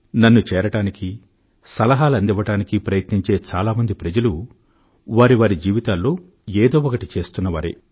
నన్ను చేరడానికి సలహాలు అందించడానికి ప్రయత్నించే చాలా మంది వారి వారి జీవితాల్లో ఏదో ఒకటి చేస్తున్నవారే